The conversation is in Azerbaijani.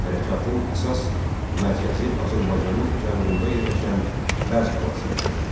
Hərəkatın əsas mərkəzi Azərbaycanın cənubunda yerləşən Bəz qalası idi.